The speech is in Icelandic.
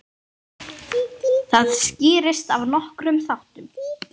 Það skýrist af nokkrum þáttum.